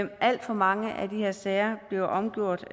alt for mange af de her sager bliver omgjort